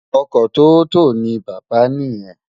Ọkọ tóótọ ni bàbá niyen.